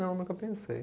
Não, nunca pensei.